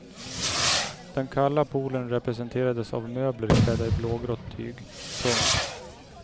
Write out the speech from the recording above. Den kalla polen representerades av möbler klädda i blågrått tyg. punkt